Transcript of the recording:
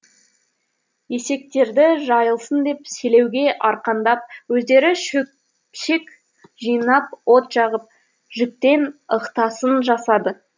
есектерді жайылсын деп селеуге арқандап өздері шөпшек жинап от жағып жүктен ықтасын жасады